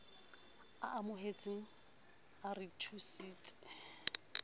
a amohetseng a re thusitse